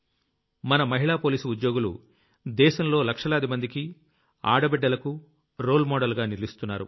మన మహిళా పోలీసు ఉద్యోగులు దేశంలో లక్షలాదిమందికి ఆడ బిడ్డలకు రోల్ Modelగా నిలుస్తున్నారు